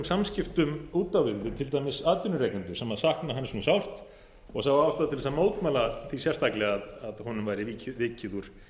samskiptum út á við við til dæmis atvinnurekendur sem sakna hans nú sárt og sjá ástæðu til að mótmæla því sérstaklega að honum væri vikið úr